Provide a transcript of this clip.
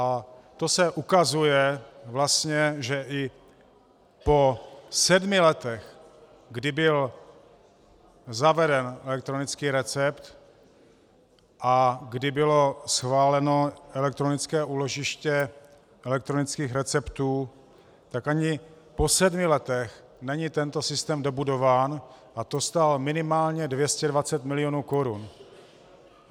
A to se ukazuje vlastně, že i po sedmi letech, kdy byl zaveden elektronický recept a kdy bylo schváleno elektronické úložiště elektronických receptů, tak ani po sedmi letech není tento systém dobudován, a to stál minimálně 220 milionů korun.